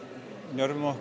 njörvum okkur